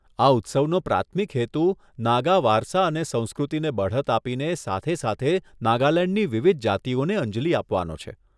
આ ઉત્સવનો પ્રાથમિક હેતુ નાગા વારસા અને સંસ્કૃતિને બઢત આપીને સાથે સાથે નાગાલેંડની વિવિધ જાતિઓને અંજલિ આપવાનો છે.